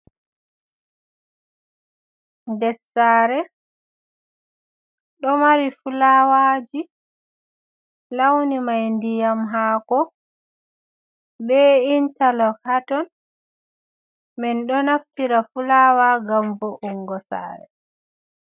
Dessare do mari fulawaji launi mai ndiyam hako be intarlog haton ,mindo naftira fulawa gam voungo sare.